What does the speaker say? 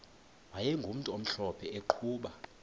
wayegumntu omhlophe eqhuba